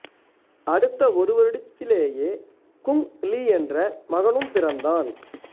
அடுத்த ஒரு வருடத்திலேயே குங் லீ என்ற மகனும் பிறந்தான்